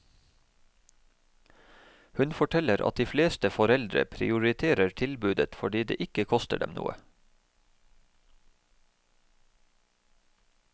Hun forteller at de fleste foreldre prioriterer tilbudet fordi det ikke koster dem noe.